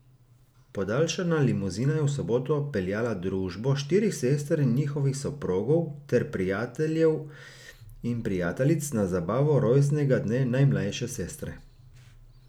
Podaljšana limuzina je v soboto peljala družbo štirih sester in njihovih soprogov ter prijateljev in prijateljic na zabavo rojstnega dne najmlajše sestre.